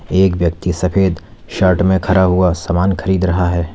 एक व्यक्ति सफेद शर्ट में खड़ा हुआ सामान खरीद रहा है।